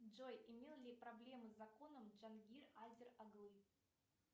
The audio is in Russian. джой имел ли проблемы с законом джангир азер оглы